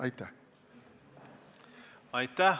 Aitäh!